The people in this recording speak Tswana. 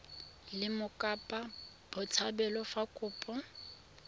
le mokopa botshabelo fa kopo